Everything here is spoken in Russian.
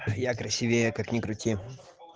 я красивее как ни крути